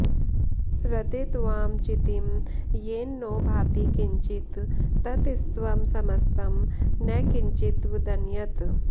ऋते त्वां चितिं येन नो भाति किञ्चित् ततस्त्वं समस्तं न किञ्चित्वदन्यत्